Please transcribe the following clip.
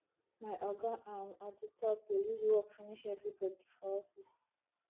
my oga um at di top dey use work finish everybodi for office